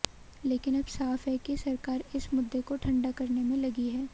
लेकिन अब साफ है कि सरकार इस मुद्दे को ठंडा करने में लगी है